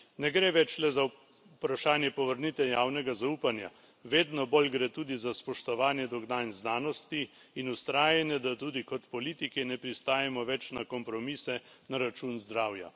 Ne gre več le za vprašanje povrnitve javnega zaupanja, vedno bolj gre tudi za spoštovanje dognanj znanosti in vztrajanje, da tudi kot politiki ne pristajamo več na kompromise na račun zdravja.